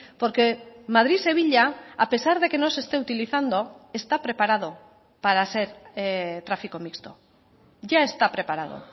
porque madrid sevilla a pesar de que no se esté utilizando está preparado para ser tráfico mixto ya está preparado